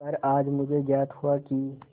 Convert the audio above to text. पर आज मुझे ज्ञात हुआ कि